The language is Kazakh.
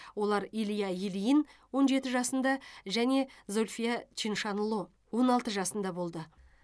олар илья ильин он жеті жасында және зүлфия чиншанло он алты жасында болды